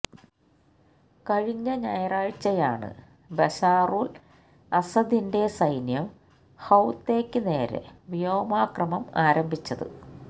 കഴിഞ്ഞ ഞായറാഴ്ച്ചയാണ് ബശാറുല് അസദിന്റെ സൈന്യം ഹൌത്തെയ്ക്ക് നേരെ വ്യോമാക്രമം ആരംഭിച്ചത്